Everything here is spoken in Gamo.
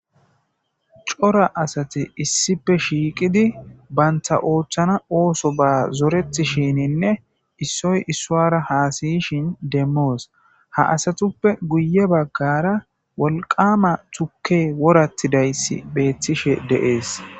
Cora asati issippe shiiqidi banta oothana oosoba zoretishininne issoy issara hassayishin demos ha asatuppe guye bagara turkey woratidaysi beetishe de'ees.